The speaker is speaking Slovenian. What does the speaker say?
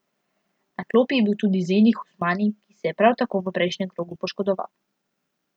Na klopi je bil tudi Zeni Husmani, ki se je prav tako v prejšnjem krogu poškodoval.